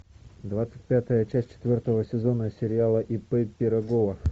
двадцать пятая часть четвертого сезона сериала ип пирогова